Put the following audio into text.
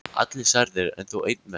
Allir særðir, en þó einn mest.